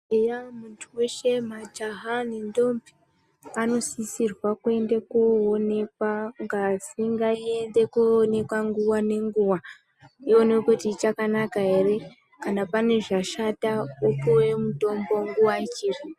Eya muntu weshe majaha nentombi anosisirwa kuenda kunoonekwa ngazi ngaiende koonekwa nguwa nenguwa iwonekwe kuti ichakanaka ere kana pane zvashata opuwe mutombo nguwa ichipo.